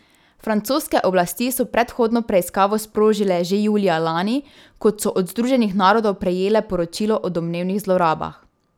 Francoske oblasti so predhodno preiskavo sprožile že julija lani, kot so od Združenih narodov prejele poročilo o domnevnih zlorabah.